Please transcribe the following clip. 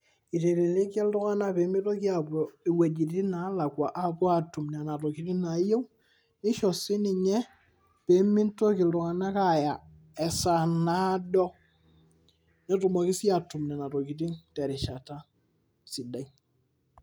Itelelikia ltunganak pemitoki apuo wuejitin nalakwaapuo atum nona tokitin nayieu, nisho sii ninye pemitoki ltunganak aya esaa naado netumoki sii atum nona tokitin terishata sidai.